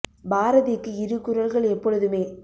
பாரதிக்கு இரு குரல்கள் எப்பொழுதுமே